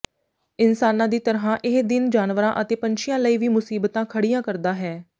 ਇਨਸਾਨਾਂ ਦੀ ਤਰ੍ਹਾਂ ਇਹ ਦਿਨ ਜਾਨਵਰਾਂ ਅਤੇ ਪੰਛੀਆਂ ਲਈ ਵੀ ਮੁਸੀਬਤਾਂ ਖੜ੍ਹੀਆਂ ਕਰਦਾ ਹੈ